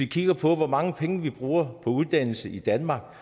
kigger på hvor mange penge vi bruger på uddannelse i danmark